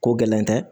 Ko gɛlɛn tɛ